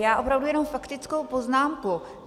Já opravdu jenom faktickou poznámku.